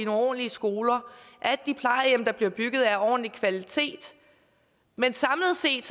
ordentlige skoler at de plejehjem der bliver bygget er af ordentlig kvalitet men samlet set